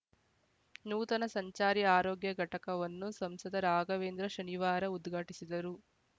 ನೂತನ ಸಂಚಾರಿ ಆರೋಗ್ಯ ಘಟಕವನ್ನು ಸಂಸದ ರಾಘವೇಂದ್ರ ಶನಿವಾರ ಉದ್ಘಾಟಿಸಿದರು